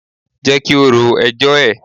Jẹ́ kí ó ro ẹjọ́ ẹ̀.